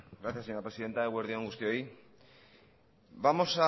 gracias señora presidenta eguerdi on guztioi vamos